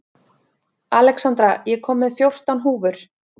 Alexandra, ég kom með fjórtán húfur!